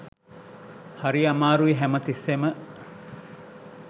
හරි අමාරුයි හැම තිස්සෙම